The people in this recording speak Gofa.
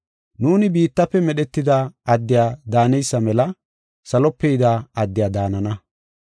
Nuuni biittafe medhetida addiya daaneysa mela salope yida addiya daanana.